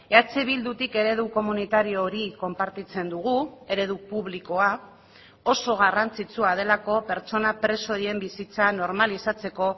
eh bildutik eredu komunitario hori konpartitzen dugu eredu publikoa oso garrantzitsua delako pertsona preso horien bizitza normalizatzeko